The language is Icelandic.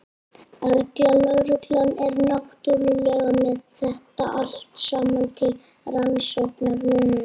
Erla: Lögreglan er náttúrulega með þetta allt saman til rannsóknar núna?